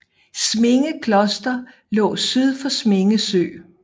Sminge Kloster lå syd for Sminge Sø